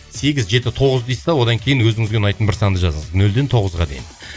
сегіз жеті тоғыз дейсіз де одан кейін өзіңізге ұнайтын бір санды жазасыз нөлден тоғызға дейін